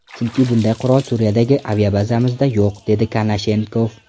Chunki bunday qurol Suriyadagi aviabazamizda yo‘q”, dedi Konashenkov.